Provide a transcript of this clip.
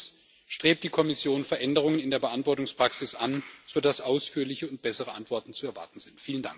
Und drittens Strebt die Kommission Veränderungen in der Beantwortungspraxis an, sodass ausführliche und bessere Antworten zu erwarten sind?